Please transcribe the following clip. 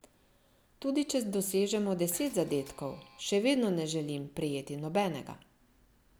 Tudi če dosežemo deset zadetkov, še vedno ne želim prejeti nobenega.